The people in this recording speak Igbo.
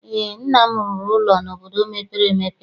Eé, nna m rụrụ ụlọ n'obodo mepere emepe.